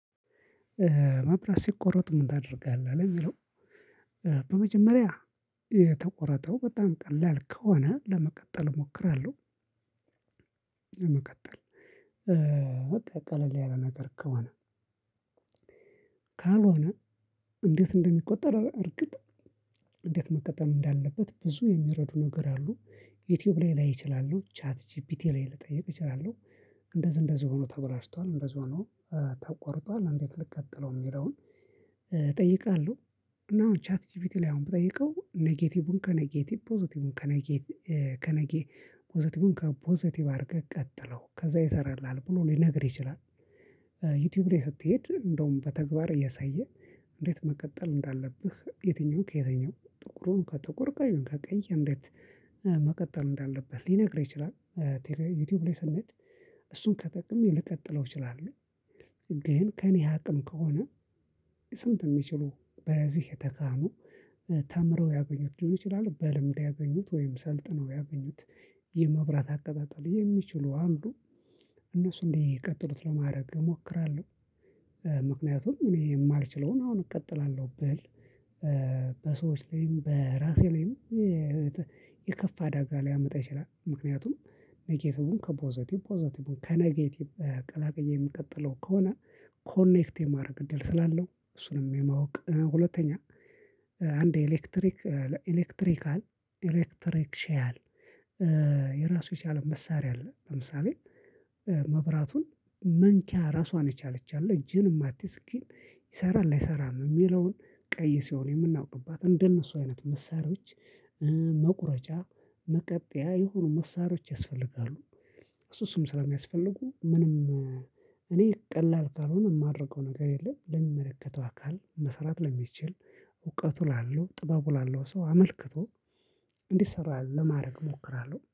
ማብራት ሲቆረጥ ምን ታደርጋለህ ለሚለው። በመጀመሪያ የተቆረጠው በጣም ቀላል ከሆነ ለመቀጠል እሞክራለሁ። ለመቀጠል ቀለል ያለ ነገር ከሆነ። ካልሆነ እንዴት እንደሚቆጠር እርግጥ እንዴት መቀጠል እንዳለበት ብዙ የሚረዱ ነገር አ፣ ዩቲዩብ ላይ ላይ እችላለሁ ቻት ጂፒት ላይ ልጠይቅ እችላለሁ። እንደዚህ እንደዚህ ሆኖ ተበላሽቷል እንደዚህ ሆኖ ተቆርጧል እንዴት ልቀጥልው የሚለውን እጠይቃለሁ። እና አሁን ቻት ጂፒቲ ላይ አሁን ብጠይቀው ኔጌቲቩን ከኔጌቲቭ ፖዘቲቩን ከነጌት ከነጌ ፖዘቲቩን ከፖዘቲቭ አድርገህ ቀጥለው ከዛ ይሰራልሃል ብሎ ሊነግር ይችላል። ዩቲዩብ ላይ ስትሄድ እንደውም በተግባር እያሳየህ እንዴት መቀጠል እንዳለብህ የትኛውምን ከየትኛውም ጥቁሩን ከጥቁር ቀዩን ከቀይ እንዴት መቀጠል እንዳለብህ ሊነግርህ ይችላል። ዩቲዩብ ላይ ስንሄድ እሱን ተጠቅሜ ልቀጥለው እችላለሁ ግን ከእኔ አቅም ከሆነ። እንደዚህ እንደዚህ ሆኖ ተበላሽቷል እንደዚህ ሆኖ ተቆርጧል እንዴት ልቀጥልው የሚለውን እጠይቃለሁ እንደሱ እድቀጠሉት ለማድረግ እሞክራለሁ። ዩቲዩብ ላይ ስትሄድ እንደውም በተግባር እያሳየህ። በሰዎች ላይም በራሴ ላይም የከፋ አደጋ ሊያመጣ ይችላል። ምክንያቱም ነጌቲቩን ከፖዘቲቭ ፖዘቲቩን ከነጌቲቭ ቀላቅዬ ምቀጥለው ከሆነ ኮኔክት የማድረግ እድል ስላለው እሱንም የማወቅ ሁለተኛ አንድ ኤሌክትሪክ ኤሌክትሪካል ኤሌክትሪክሽያል የራሱ የቻለ መሳሪያ አለ። ለምሳሌ መብራቱን መንኪያ ራሷን የቻለች አለ እጅህን ማቲዝ ግን ይሰራል አይሰራም የሚለውን ቀይ ሲሆን የምናውቅባት እንደነሱ አይነት መሳሪያዎች መቁረጫ መቀጠያ የሆኑ መሳሪያዎች ያስፈልጋሉ። እሱ እሱም ስለሚያስፈልጉ ምንም እኔ ቀላል ካልሆነ የማደርገው ነገር የለም። ለሚመለከተው አካል መስራት ለሚችል እውቀቱ ላለው ጥበቡ ላለው ሰው አመልክቶ እንዲሰራ ለማድረግ እሞክራለሁ